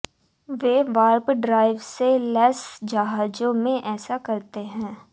वे warp drive से लैस जहाजों में ऐसा करते हैं